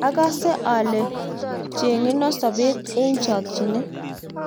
akase ale chenyenon sobet eng chokchinet